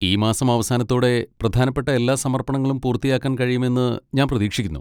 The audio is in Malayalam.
ഈ മാസം അവസാനത്തോടെ പ്രധാനപ്പെട്ട എല്ലാ സമർപ്പണങ്ങളും പൂർത്തിയാക്കാൻ കഴിയുമെന്ന് ഞാൻ പ്രതീക്ഷിക്കുന്നു.